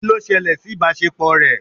Kí ló ṣẹlẹ̀ sí ìbáṣepọ̀ rẹ?